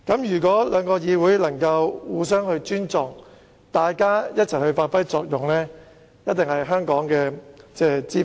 如果兩個議會能互相尊重，一起發揮作用，實屬香港之福。